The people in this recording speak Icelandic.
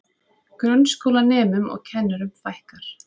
Grunnskólanemum og kennurum fækkar